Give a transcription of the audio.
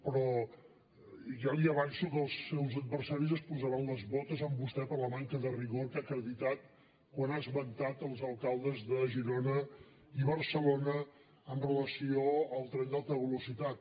però ja li avanço que els seus adversaris es posaran les botes amb vostè per la manca de rigor que ha acreditat quan ha esmentat els alcaldes de girona i barcelona amb relació al tren d’alta velocitat